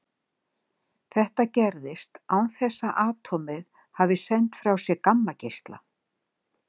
Þetta gerist án þess að atómið hafi sent frá sér gammageisla.